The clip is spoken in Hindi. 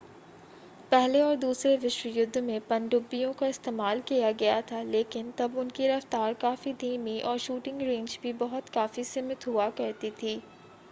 पहले और दूसरे विश्वयुद्ध में पनडुब्बियों का इस्तेमाल किया गया था लेकिन तब उनकी रफ़्तार काफ़ी धीमी और शूटिंग रेंज भी बहुत काफ़ी सीमित हुआ करती थी